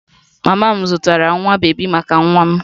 Mama m zụtara nwa bebi maka nwa m